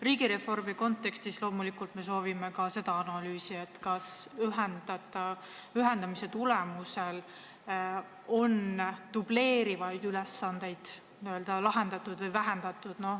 Riigireformi kontekstis me soovime loomulikult ka seda analüüsi, kas ühendamise tulemusel on dubleerivaid ülesandeid vähendatud.